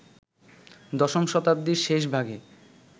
দশম শতাব্দীর শেষ ভাগে